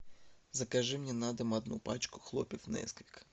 закажи мне на дом одну пачку хлопьев несквик